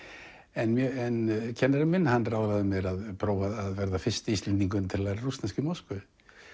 en kennarinn minn ráðlagði mér að prófa að verða fyrsti Íslendingurinn til að læra rússnesku í Moskvu